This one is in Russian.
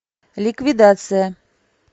ликвидация